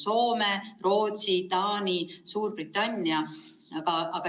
Need on Soome, Rootsi, Taani, Suurbritannia.